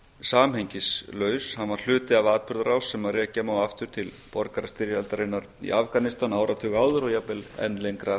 samhengislaus hann var hluti af atburðarás sem rekja má aftur til borgarastyrjaldarinnar í afganistan áratug áður og jafnvel enn lengra aftur